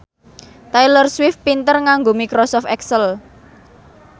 Taylor Swift pinter nganggo microsoft excel